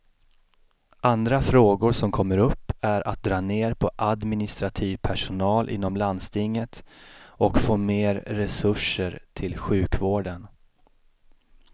Andra frågor som kommer upp är att dra ner på administrativ personal inom landstinget och få mer resurser till sjukvården.